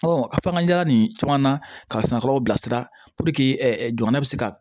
a fakangala nin caman na ka sananfurulaw bilasira jamana bɛ se ka